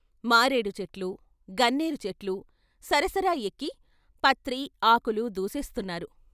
మారేడుచెట్లు, గన్నేరు చెట్లు సరసర ఎక్కి పత్రి, ఆకులు దూసేస్తున్నారు.